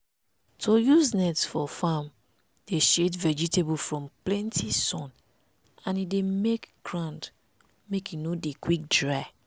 to dey use net for farm dey shade vegetable from plenti sun and e dey make ground make e no dey quick dry.